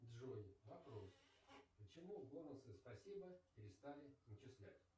джой вопрос почему бонусы спасибо перестали начислять